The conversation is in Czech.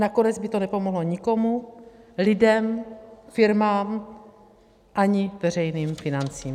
Nakonec by to nepomohlo nikomu, lidem, firmám ani veřejným financím.